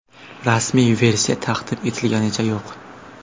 Rasmiy versiya taqdim etilganicha yo‘q.